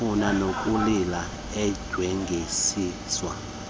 wayefuna nokulila endyengezelisa